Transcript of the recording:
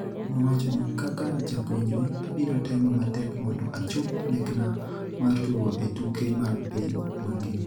Nowachoni, "Kaka japuonjre, abiro temo matek mondo achop lekna mar tugo e tuke mag piny mangima".